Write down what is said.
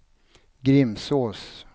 Grimsås